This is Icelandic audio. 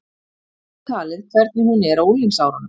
Þar með talið hvernig hún er á unglingsárunum.